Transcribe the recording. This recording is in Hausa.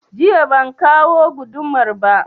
Jiya ban kawo gudumar ba